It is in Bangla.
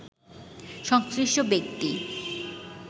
সংশ্লিষ্ট ব্যক্তি